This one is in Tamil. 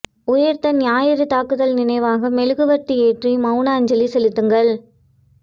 உயிர்த்த ஞாயிறு தாக்குதல் நினைவாக மெழுகுவர்த்தி ஏற்றி மௌன அஞ்சலி செலுத்துங்கள்